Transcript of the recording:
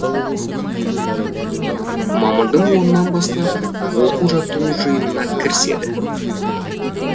мамырдың онынан бастап оқу жаттығу жиынына кіріседі